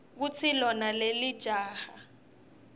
kutsi lona lelijaha